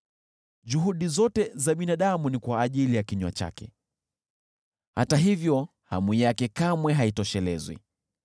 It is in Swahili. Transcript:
Juhudi zote za binadamu ni kwa ajili ya kinywa chake, hata hivyo hamu yake kamwe haitoshelezwi.